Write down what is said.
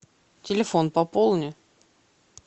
телефон пополни